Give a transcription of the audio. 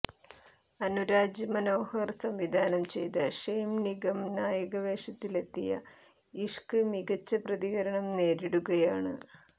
അനുരാജ് മനോഹര് സംവിധാനം ചെയ്ത് ഷെയിന് നിഗം നായക വേഷത്തിലെത്തിയ ഇഷ്ക് മികച്ച പ്രതികരണം നേരിടുകയാണ്